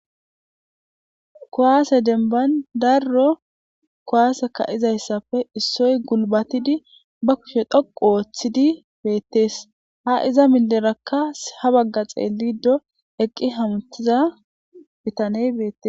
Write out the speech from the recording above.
Kowaase denban darro kowaaseka izayssafe issoy gulbatidi ba kushe dhoqu ooththidi beettees ha iza minderakka ha bagga xeellido eqqi hamtiza bitaney beettes.